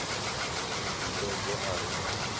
mubvumbedzwa a re na lunyadzo